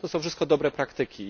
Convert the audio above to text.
To są wszystko dobre praktyki.